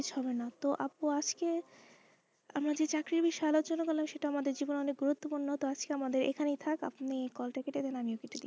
হবে না তো আপ্পু আজকে আমার যে চাকরির আলোচনা সেটা আমাদের জীবনে অনেক গুরুত্ব পূর্ণ তো আজকে আমাদের এখানেই থাকে আপনি call টা কেটে দিন আমিও কেটে দিচ্ছি,